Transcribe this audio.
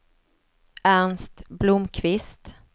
Ernst Blomkvist